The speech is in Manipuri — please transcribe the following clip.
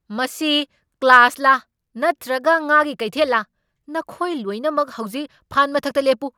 ꯃꯁꯤ ꯀ꯭ꯂꯥꯁꯂ ꯅꯠꯇ꯭ꯔꯒ ꯉꯥꯒꯤ ꯀꯩꯊꯦꯜꯂ? ꯅꯈꯣꯏ ꯂꯣꯏꯅꯃꯛ ꯍꯧꯖꯤꯛ ꯐꯥꯟ ꯃꯊꯛꯇ ꯂꯦꯞꯄꯨ!